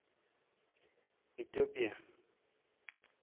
itopia